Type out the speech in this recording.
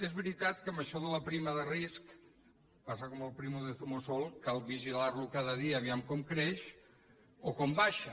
és veritat que amb això de la prima de risc passa com amb el primo de zumosol cal vigilar lo cada dia vejam com creix o com baixa